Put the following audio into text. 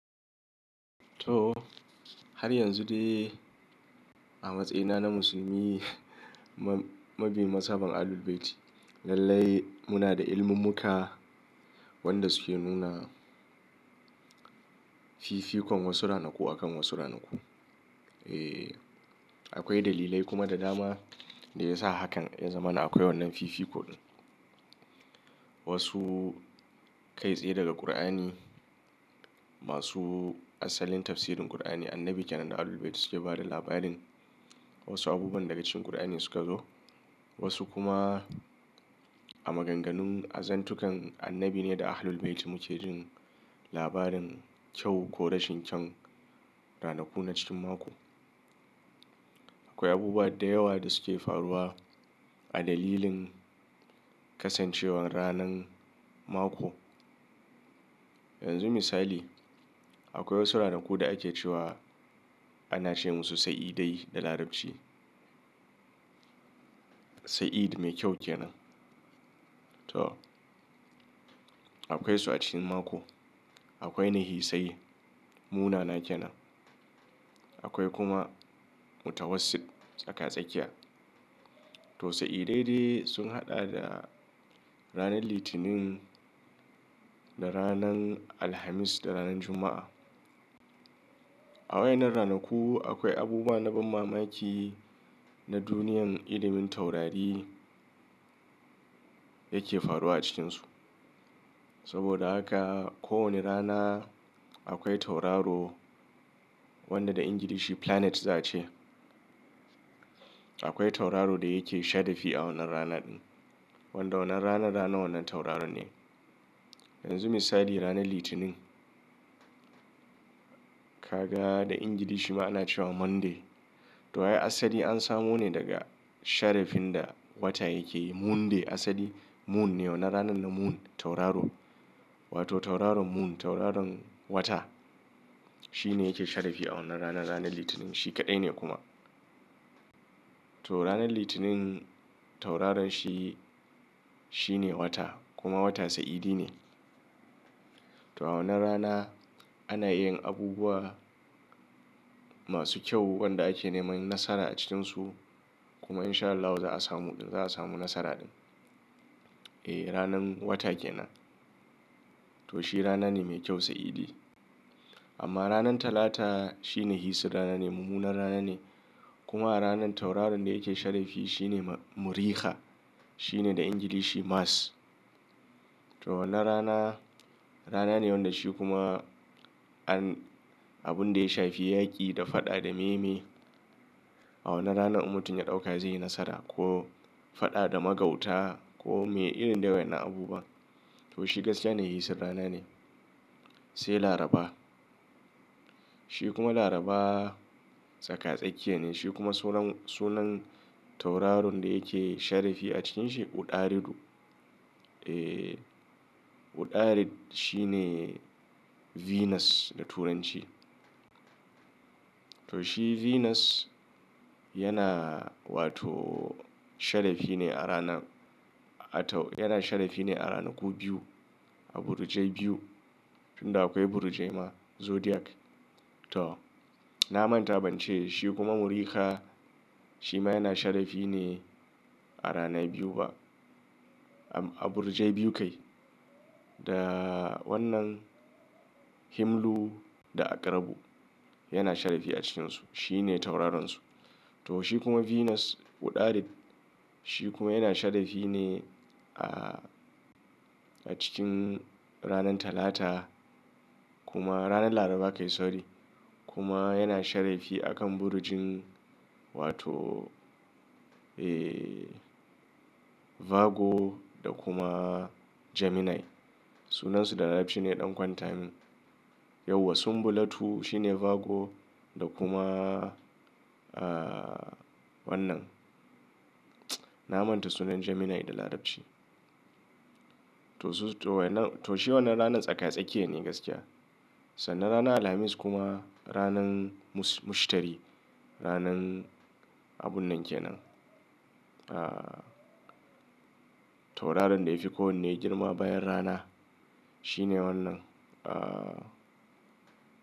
Toh, har yanzu dai a matsayina na musulmi mabi mashaban Ahlul Bayti, lallai muna da iliminmuka wanda suke nuna fifikon wasu ranaku akan wasu ranaku. Eh, akwai dalilai kuma da dama da ya sa hakan ya zamana akwai wannan fifikon. Wasu kai tsaye daga Kur'ani, masu asalin tafsirin Kur'ani, Annabi ke nan da Ahlul Bayti suke bada labarin wasu abubuwan daga cikin Kur'ani suka zo, wasu kuma a maganganun azantukan Annabi ne da Ahlul Bayti muke jin labarin kyau ko rashin kyau ranaku na cikin mako. Akwai abubuwa da yawa da suke faruwa a dalilin kasancewar ranan mako. Yanzu misali, akwai wasu ranaku da ake cewa ana ce musu sa'idai da Larabci. Sa'id mai kyau ke nan. Toh, akwai su a cikin mako. Akwai nahisai munana ke nan. Akwai kuma mutawasit tsaka-tsakiya. Toh sa'idai dai sun haɗa da ranar Litinin da ranan Alhamis da ranan Juma'a. A wayanan ranaku akwai abubuwa na ban mamaki na duniyan ilimin taurari yake faruwa a cikinsu. Saboda haka ko wani rana akwai tauraro wanda da Ingilishi planet za a ce. Akwai tauraro da yake shadafii a wannan rana din. Wanda wannan rana rana wannan tauraron ne. Yanzu misali ranar Litinin. Kaga da Ingilishi ma ana cewa Monday. Toh a'i asali an samo ne daga sharafin da wata yake yi. Moon day asali moon ne. Wannan ranan na moon tauraro wato tauraron moon tauraron wata. Shi ne yake shadafi a wannan rana ranar Litinin. Shi kaɗai ne kuma. Toh ranar Litinin tauraron shi shine wata kuma wata sa'idi ne. Toh a wannan rana ana yin abubuwa masu kyau wanda ake neman nasara a cikinsu kuma In Shaa Allah za a samu za a samu nasara din. Eh ranan wata ke nan. To shi rana ne mai kyau sa'idi. Amma ranan Talata shine hisir rana ne mummunar rana ne kuma a ranan tauraron da yake sharafi shi ne muriha. Shi ne da Ingilishi Mars. Toh wannan rana rana ne wanda shi kuma an abun da ya shafi yaƙi da faɗa da meye meye. A wannan rana in mutum ya ɗauka zai yi nasara ko faɗa da magauta ko me irin dai wayanna abubuwa. To shi gaskiya ne hisir rana ne. Sai Laraba. Shi kuma Laraba tsaka-tsakiya ne shi kuma sunan sunan tauraron da yake sharafi a cikinsa Uɗaridu. Eh Uɗarid shi ne Venus da Turanci. Toh shi Venus yana wato sharafi ne a rana watau yana sharafi ne a ranaku biyu a burjai biyu tunda akwai burjai ma zodiac. Toh na manta ban ce shi kuma muriha shi ma yana sharafi ne a rana biyu ba a burjai biyu kai da wannan Himlu da Akrabu yana sharafi a cikinsu. Shi ne tauraronsu. To shi kuma Venus Uɗarid shi kuma yana sharadi ne a cikin ranan Talata kuma ranan Laraba kai sorry kuma yana sharafi akan burjin wato eh Vago da kuma Gemini. Sunansu da Larabci ne ya ɗan kwanta min. Yauwa sunbulatu shi ne Vago da kuma ah wannan na manta sunan Gemini da Larabci. Toh su toh wayannan toh shi wannan ranan tsaka-tsakiya ne gaskiya. Sannan rana Alhamis kuma ranan mush Mushtari ranan abun nan ke nan. Ah tauraron da yafi kowanne girma bayan rana shi ne wannan ah.